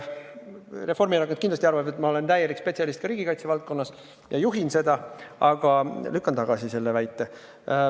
Reformierakond kindlasti arvab, et ma olen täielik spetsialist ka riigikaitse valdkonnas ja juhin seda, aga ma lükkan tagasi selle väite.